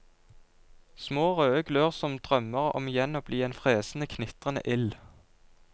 Små, røde glør som drømmer om igjen å bli en fresende, knitrende ild.